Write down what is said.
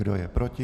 Kdo je proti?